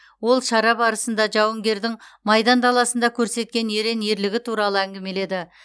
ол шара барысында жауынгердің майдан даласында көрсеткен ерен ерлігі туралы әңгімеледі